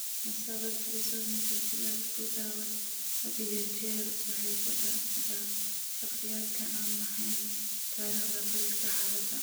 Musawir trisomika sided ku dhawaad ​​had iyo jeer waxay ku dhacdaa shakhsiyaadka aan lahayn taariikhda qoyska xaaladda.